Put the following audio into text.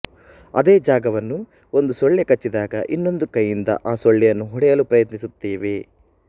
ಅದೇ ಜಾಗವನ್ನು ಒಂದು ಸೊಳ್ಳೆಕಚ್ಚಿದಾಗ ಇನ್ನೊಂದು ಕೈಯಿಂದ ಆ ಸೊಳ್ಳೆಯನ್ನು ಹೊಡೆಯಲು ಪ್ರಯತ್ನಿಸುತ್ತೇವೆ